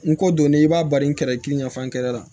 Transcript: N ko donnen i b'a bari kɛrɛ kelen ɲɛf'an yɛrɛ la